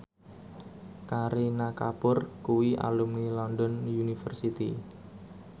Kareena Kapoor kuwi alumni London University